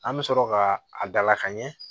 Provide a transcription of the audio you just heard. An bɛ sɔrɔ ka a dalakan ɲɛ